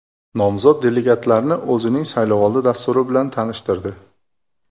Nomzod delegatlarni o‘zining saylovoldi dasturi bilan tanishtirdi.